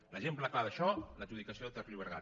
l’exemple clar d’això l’adjudicació de ter llobregat